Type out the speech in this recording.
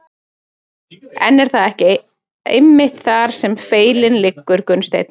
En er það ekki einmitt þar sem feillinn liggur Gunnsteinn?